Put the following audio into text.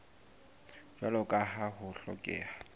jwalo ka ha ho hlokeha